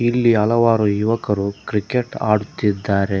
ಇಲ್ಲಿ ಹಲವಾರು ಯುವಕರು ಕ್ರಿಕೆಟ್ ಆಡುತ್ತಿದ್ದಾರೆ.